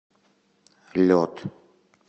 лед